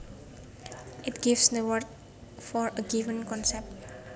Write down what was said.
It gives the words for a given concept